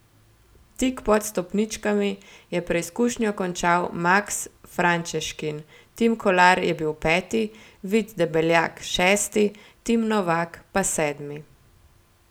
Tik pod stopničkami je preizkušnjo končal Maks Frančeškin, Tim Kolar je bil peti, Vid Debeljak šesti, Tim Novak pa sedmi.